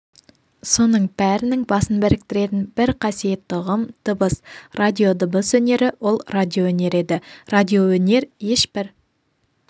соның бәрінің басын біріктіретін бір қасиетті ұғым дыбыс радио дыбыс өнері ол радиоөнер еді радиоөнер ешбір